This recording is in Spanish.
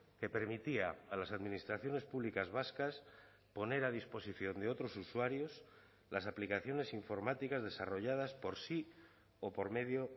que permitía a las administraciones públicas vascas poner a disposición de otros usuarios las aplicaciones informáticas desarrolladas por sí o por medio